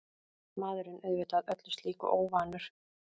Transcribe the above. Maðurinn auðvitað öllu slíku óvanur.